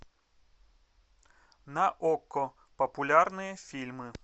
на окко популярные фильмы